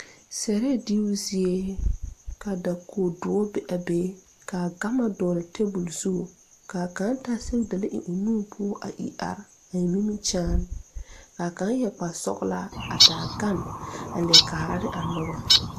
Sɛrɛɛ diibu zie ka dakoge dɔre be a be kaa gama dɔgle tabole zu kaa kaŋ taa sɛgedalee eŋ o nu poɔ a ire are a eŋ nimikyaane kaa kaŋ yɛre kparesɔglaa a taa gane a leɛ kaara ne a nobɔ.